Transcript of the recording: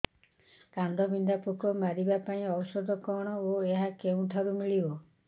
କାଣ୍ଡବିନ୍ଧା ପୋକ ମାରିବା ପାଇଁ ଔଷଧ କଣ ଓ ଏହା କେଉଁଠାରୁ ମିଳିବ